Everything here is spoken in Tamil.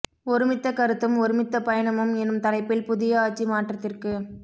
ஒருமித்த கருத்தும் ஒருமித்த பயணமும் எனும் தலைப்பில் புதிய ஆட்சி மாற்றத்திற்குப்